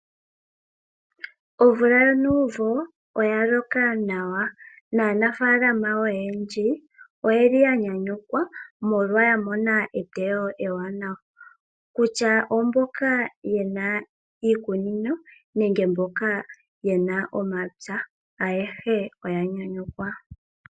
Omvula yonuumvo oyaloka nawa naa nafalama oyendji oyeli yanyanyukwa molwa yamona eteyo ewaanawa, kutya oomboka yena iikunino nenge mboka yena omapya, ayehe oyanyanyukwa.